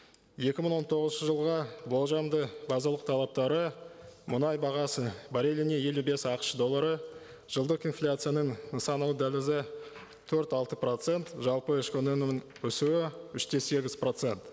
екі мың он тоғызыншы жылға болжамды базалық талаптары мұнай бағасы барреліне елу бес ақш доллары жылдық инфляцияның нысана дәлізі төрт алты процент жалпы ішкі өнімнің өсуі үш те сегіз процент